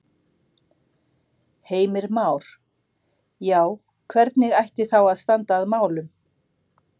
Heimir Már: Já, hvernig ætti þá að standa að málum?